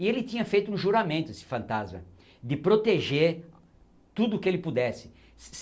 E ele tinha feito um juramento, esse fantasma, de proteger tudo o que ele pudesse.